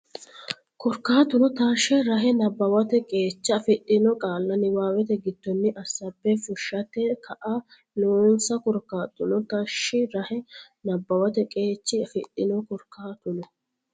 Korkaatuno taashshe rahe nabbawate qeecha afidhino qaalla niwaawete giddonni assaabbe fushshate kaa lannonsa Korkaatuno taashshe rahe nabbawate qeecha afidhino Korkaatuno.